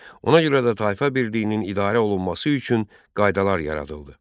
Ona görə də tayfa birliyinin idarə olunması üçün qaydalar yaradıldı.